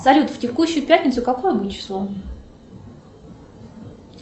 салют в текущую пятницу какое будет число